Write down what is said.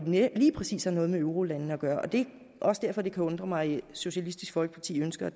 lige præcis har noget med eurolandene at gøre det er også derfor det kan undre mig at socialistisk folkeparti ønsker